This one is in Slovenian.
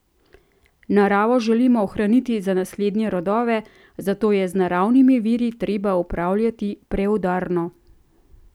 Naravo želimo ohraniti za naslednje rodove, zato je z naravnimi viri treba upravljati preudarno.